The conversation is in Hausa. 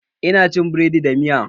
Ina cin biredi da miya